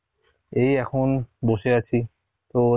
এই এখন বসে আছি, তো